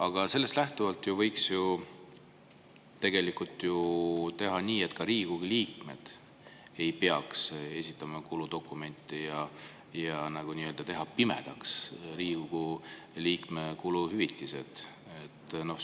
Aga sellest lähtuvalt võiks ju tegelikult teha nii, et ka Riigikogu liikmed ei peaks kuludokumente esitama, võiks teha Riigikogu liikme kuluhüvitised nii-öelda pimedaks.